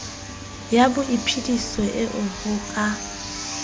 ya boiphediso eo ho ka